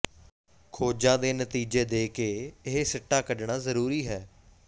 ਖੋਜਾਂ ਦੇ ਨਤੀਜੇ ਦੇ ਕੇ ਇਹ ਸਿੱਟਾ ਕੱਢਣਾ ਜ਼ਰੂਰੀ ਹੈ